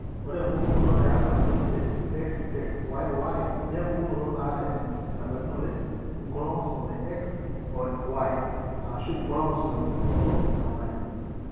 Ore empukunoto eartam oisiet, XXYY naa empukunoto naata enebaikinore inchromosomes e X o Y (Inchromosomes epukunoto etung'ani).